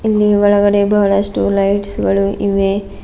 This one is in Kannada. ಇಲ್ಲಿ ಒಳಗಡೆ ಬಹಳಷ್ಟು ಲೈಟ್ಸ್ ಗಳು ಇವೆ.